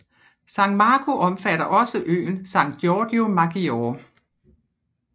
San Marco omfatter også øen San Giorgio Maggiore